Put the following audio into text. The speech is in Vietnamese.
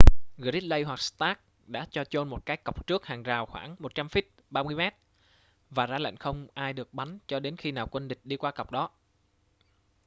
gridley hoặc stark đã cho chôn một cái cọc trước hàng rào khoảng 100 feet 30 m và ra lệnh không ai được bắn cho đến khi nào quân địch đi qua cọc đó